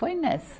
Foi nessa.